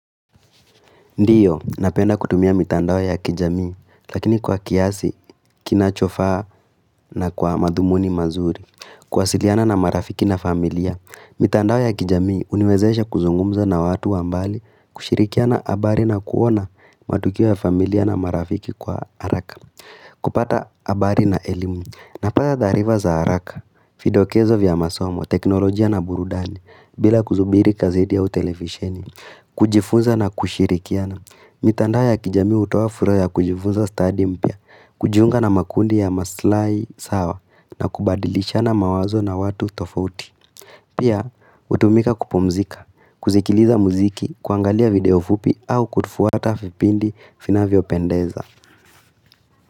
Ndiyo, napenda kutumia mitandao ya kijamii, lakini kwa kiasi, kinachofaa na kwa madhumuni mazuri. Kwasiliana na marafiki na familia, mitandao ya kijamii uniwezesha kuzungumza na watu wa mbali, kushirikiana habari na kuona matukio ya familia na marafiki kwa haraka. Kupata habari na elimu, napata taarifa za haraka, vidokezo vya masomo, teknolojia na burudani, bila kusubiri kazidi ya utelevisheni, kujifunza na kushirikiana. Mitandao ya kijamii hutoa fursa ya kujifunza studi mpya, kujiunga na makundi ya maslai na kubadilishana mawazo na watu tofouti Pia, utumika kupomzika, kuzikiliza muziki, kuangalia video fupi au kutufuata vipindi vinavyo pendeza.